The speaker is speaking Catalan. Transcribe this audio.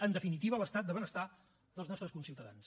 en definitiva l’estat de benestar dels nostres conciutadans